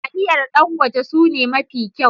taliyar Dangote sune mafi kyau.